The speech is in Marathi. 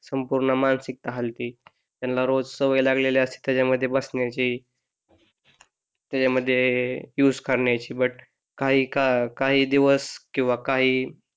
संपूर्ण मानसिकता हालते त्यांना रोज सवय लागलेली असते त्याच्यामुळे ती बसण्याची त्याच्यामध्ये युझ करण्याची काही दिवस किंवा काही